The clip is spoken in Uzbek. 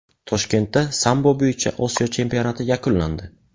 Toshkentda sambo bo‘yicha Osiyo chempionati yakunlandi.